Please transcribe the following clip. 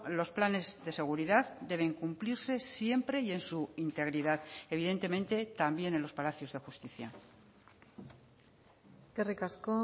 los planes de seguridad deben cumplirse siempre y en su integridad evidentemente también en los palacios de justicia eskerrik asko